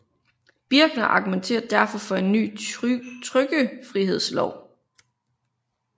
Birckner argumenterer derfor for en ny trykkefrihedslov